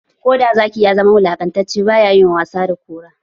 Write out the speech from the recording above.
Koda Zaki ya zama wulakantacce, ba ya yi wasa da Kura ba.